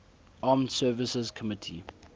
armed services committee